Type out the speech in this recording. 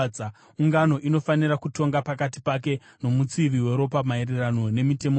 ungano inofanira kutonga pakati pake nomutsivi weropa maererano nemitemo iyi.